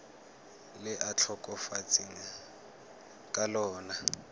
le a tlhokafetseng ka lona